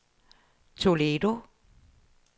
Toledo